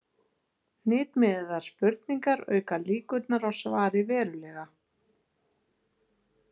Hnitmiðaðar spurningar auka líkurnar á svari verulega.